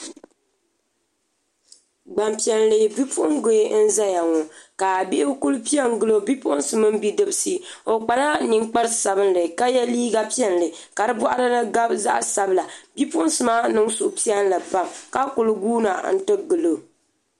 Gbanpiɛli bipuɣungi n ʒɛya ŋɔ ka bihi ku piɛ n gilo Bipuɣunsi mini bidibsi o kpala ninkpari sabinli ka yɛ liiga piɛlli ka di boɣari ni gabi zaɣ sabila bipuɣunsi maa niŋ suhupiɛlli pam ka ku guuna n ti gilo